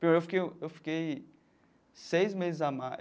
Pior, que eu eu fiquei seis meses a mais.